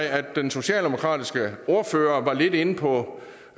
at den socialdemokratiske ordfører var lidt inde på